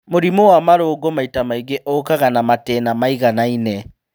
Mũrimũ wa marũngo maita maingĩ ũkaga na matĩna maiganaine